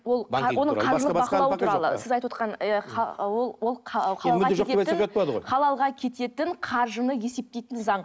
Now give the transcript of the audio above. ол сіз айтып ол халалға кететін қаржыны есептейтін заң